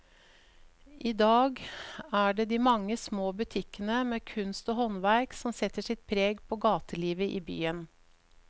I dag er det de mange små butikkene med kunst og håndverk som setter sitt preg på gatelivet i byen.